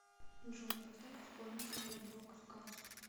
джой поставь исполнителя броадкаст